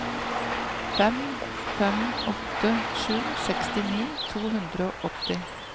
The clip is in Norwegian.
fem fem åtte sju sekstini to hundre og åtti